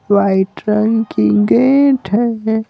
White रंग की gate है।